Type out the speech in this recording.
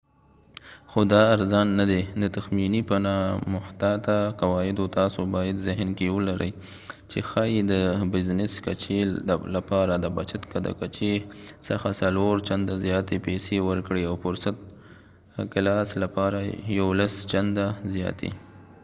خو دا ارزان نه دی د تخمینې په نامحتاطه قواعدو تاسو باید ذهن کې ولرئ چې ښايي د بزنس کچې لپاره د بچت د کچې څخه څلور چنده زیاتې پیسې ورکړئ او فرسټ کلاس لپاره یولس چنده زیاتې